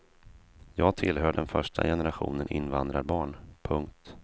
Jag tillhör den första generationen invandrarbarn. punkt